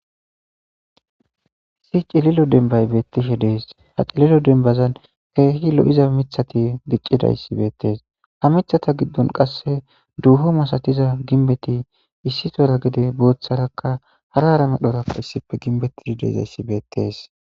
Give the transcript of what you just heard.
Issi cililo dembbay beettishe dees. Ha cililo dembazan keehi lo7iza mithati diccidayssi beettees. Ha mithata giddon qasse duufo masatiza ginbbeti issi tora gede booththarakka hara hara medhorakka issife ginbetti dizayssi beettees.